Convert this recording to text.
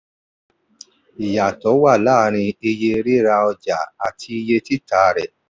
ìyàtò wà láàrin iye rira ọjà àti iye títà rẹ.